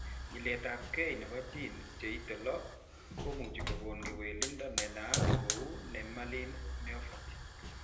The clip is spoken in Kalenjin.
Nyiletabge nebo genes cheite 6 komuchi kokon kewelindo nenaat kou nemaline myopathy